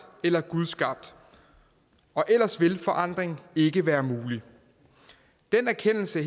eller gudskabt og ellers vil forandring ikke være mulig den erkendelse